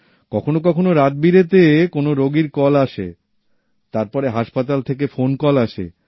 কখনও কখনও রাত বিরেতে কোনও রোগীর কল আসে তারপরে হাসপাতাল থেকে ফোন কল আসে